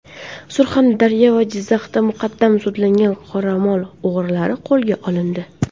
Surxondaryo va Jizzaxda muqaddam sudlangan qoramol o‘g‘rilari qo‘lga olindi.